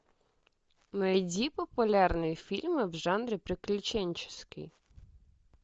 найди популярные фильмы в жанре приключенческий